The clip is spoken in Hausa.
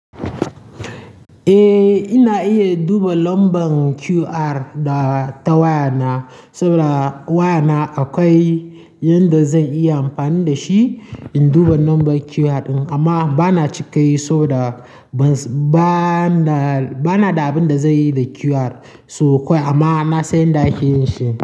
Eh, ina iya duba lambar QR da ta wayana saboda wayana akwai yanda zan iya amfani da shi in duba lambar QR ɗin. Amma bana cika yi saboda ba ba na da abin da zai yi da QR. So kawai amma na san yadda ake yin shi.